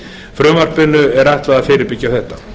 frumvarpinu væri ætlað að fyrirbyggja þetta